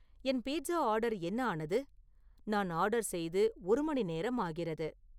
என் pizza order என்ன ஆனது நான் ஆர்டர் செய்து ஒரு மணி நேரம் ஆகிறது